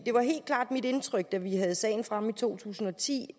var helt klart mit indtryk da vi havde sagen fremme i to tusind og ti